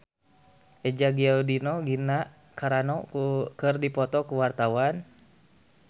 Eza Gionino jeung Gina Carano keur dipoto ku wartawan